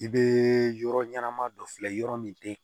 I be yɔrɔ ɲɛnama dɔ filɛ yɔrɔ min tɛ